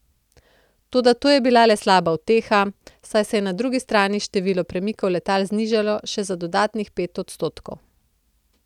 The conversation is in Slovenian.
Toda to je bila le slaba uteha, saj se je na drugi strani število premikov letal znižalo še za dodatnih pet odstotkov.